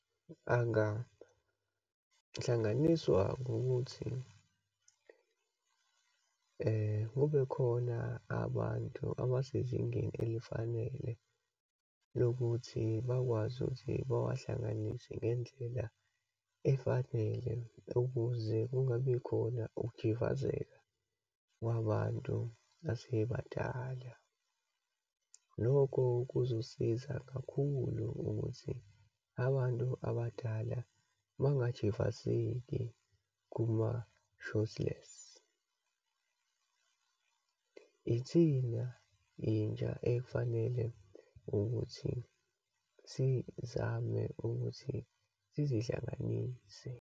Angahlanganiswa ngokuthi kube khona abantu abasezingeni elifanele lokuthi bakwazi ukuthi bawahlanganise ngendlela efanele, ukuze kungabi khona ukujivazeka kwabantu asebadala. Lokho kuzosiza kakhulu ukuthi abantu abadala bangajivazeki kuma-shotless. Ithina intsha, efanele ukuthi sizame ukuthi sizihlanganise.